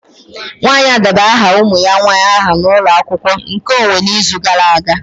Nwanyị a debara aha ụmụ ya nwanyị aha na ụlọ akwụkwọ nkeonwe n'izu gara aga